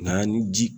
Na ni ji